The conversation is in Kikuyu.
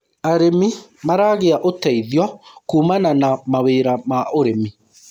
arĩmi maragia uteithio kumana na mawira ma ũrĩmi